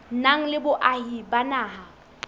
nang le boahi ba naha